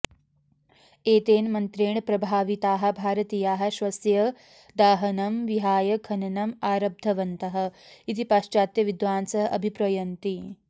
एतेन मन्त्रेण प्रभाविताः भारतीयाः शवस्य दाहनं विहाय खननम् आरब्धवन्तः इति पाश्चात्यविद्वांसः अभिप्रयन्ति